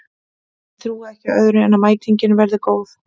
Ég trúi ekki öðru en að mætingin verði góð.